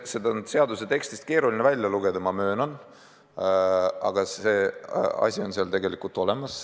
Seda on seaduse tekstist keeruline välja lugeda, ma möönan, aga see on seal tegelikult olemas.